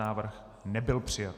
Návrh nebyl přijat.